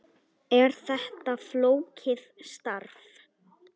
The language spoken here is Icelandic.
Er þetta flókið starf?